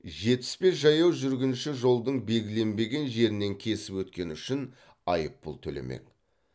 жетпіс бес жаяу жүргінші жолдың белгіленбеген жерінен кесіп өткені үшін айыппұл төлемек